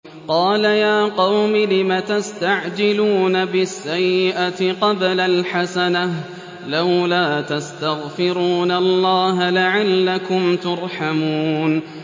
قَالَ يَا قَوْمِ لِمَ تَسْتَعْجِلُونَ بِالسَّيِّئَةِ قَبْلَ الْحَسَنَةِ ۖ لَوْلَا تَسْتَغْفِرُونَ اللَّهَ لَعَلَّكُمْ تُرْحَمُونَ